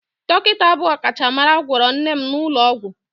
Dọkịta bụ ọkachamara gwọrọ nne m n'ụlọ ọgwụ